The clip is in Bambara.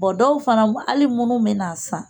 dɔw fana hali munnu mɛ n'a san.